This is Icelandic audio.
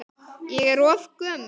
Ég er of gömul.